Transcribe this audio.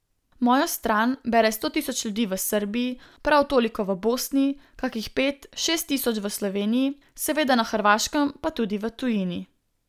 Mojo stran bere sto tisoč ljudi v Srbiji, prav toliko v Bosni, kakih pet, šest tisoč v Sloveniji, seveda na Hrvaškem, pa tudi v tujini.